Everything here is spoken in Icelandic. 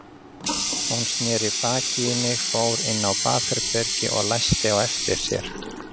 Hún sneri baki í mig, fór inn á baðherbergi og læsti á eftir sér.